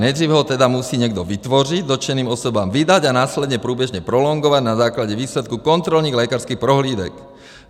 Nejdříve ho tedy musí někdo vytvořit, dotčeným osobám vydat a následně průběžně prolongovat na základě výsledků kontrolních lékařských prohlídek.